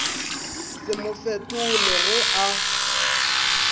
se mo fetole ge a